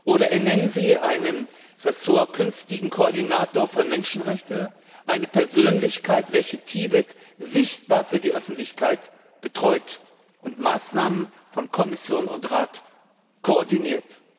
Oder ernennen Sie einen künftigen Koordinator für Menschenrechte, eine Persönlichkeit, welche Tibet sichtbar für die Öffentlichkeit betreut und Maßnahmen von Kommission und Rat koordiniert.